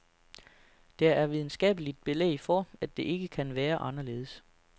Der er videnskabeligt belæg for, at det ikke kan være anderledes.